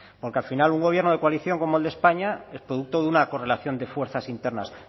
porque al final un gobierno de coalición como el de españa es producto de una correlación de fuerzas internas